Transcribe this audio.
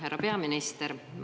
Härra peaminister!